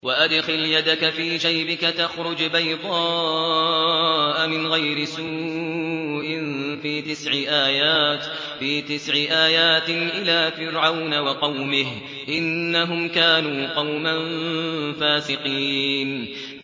وَأَدْخِلْ يَدَكَ فِي جَيْبِكَ تَخْرُجْ بَيْضَاءَ مِنْ غَيْرِ سُوءٍ ۖ فِي تِسْعِ آيَاتٍ إِلَىٰ فِرْعَوْنَ وَقَوْمِهِ ۚ إِنَّهُمْ كَانُوا قَوْمًا فَاسِقِينَ